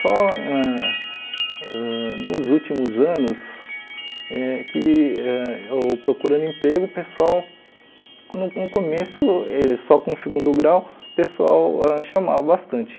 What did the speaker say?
Só ãh ãh nos últimos anos, eh que ãh eu procurando emprego, o pessoal, no no começo, eles só com o segundo grau, o pessoal ãh chamava bastante.